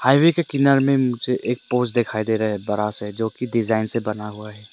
Highway के किनारे में मुझे एक पोस्ट दिखाई दे रहा है बड़ा से जो की डिजाइन से बना हुआ है।